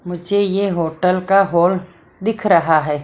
मुझे ये होटल का हॉल दिख रहा है।